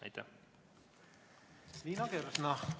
Liina Kersna, palun!